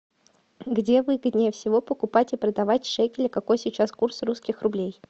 где выгоднее всего покупать и продавать шекели какой сейчас курс русских рублей